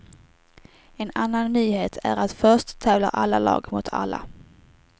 En annan nyhet är att först tävlar alla lag mot alla.